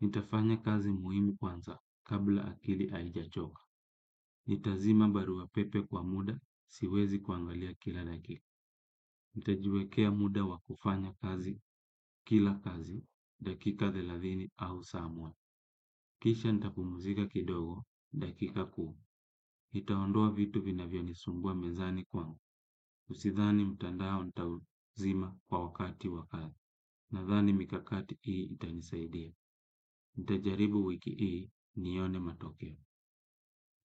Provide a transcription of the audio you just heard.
Nitafanya kazi muhimu kwanza kabla akili haijachoka. Nita zima barua pepe kwa muda siwezi kuangalia kila dakika. Nitajiwekea muda wa kufanya kazi kila kazi dakika thelathini au saa moja. Kisha nitapumzika kidogo dakika kumi. Nitaondoa vitu vinavyonisumbua mezani kwangu Usidhani mtandao nitauzima kwa wakati wa kazi. Nadhani mikakati hii itanisaidia. Nitajaribu wiki hii nione matokeo.